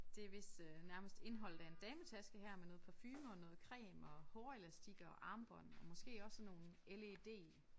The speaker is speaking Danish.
Det vist øh nærmest indholdet af en dametaske her med noget parfume og noget creme og hårelastikker og armbånd og måske også sådan nogle LED